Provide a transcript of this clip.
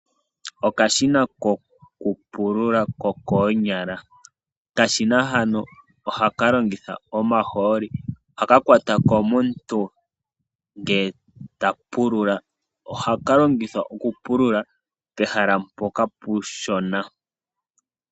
Okashina kokupulula kokoonyala, okashina hano ohaka longitha omahooli ohaka kwatwa komuntu ngele ta pulula. Ohaka longithwa okupulula pehala mpoka puushona.